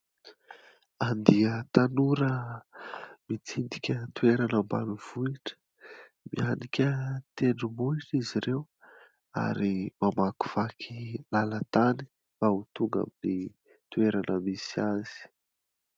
Andiana tanora mitsidika toerana ambanivohitra, mihanika tendrombohitra izy ireo ary mamakivaky lalana tany mba ho tonga aminy toerana misy azy.